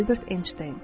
Albert Enşteyn.